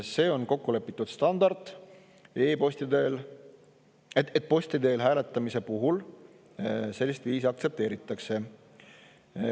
See on kokku lepitud standard, et posti teel hääletamise puhul sellist viisi aktsepteeritakse.